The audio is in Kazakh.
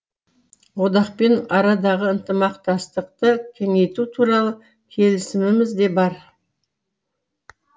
одақпен арадағы ынтымақтастықты кеңейту туралы келісіміміз де бар